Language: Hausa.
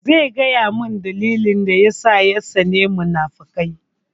Zai gaya mun dalilin da yasa ya tsani munafukai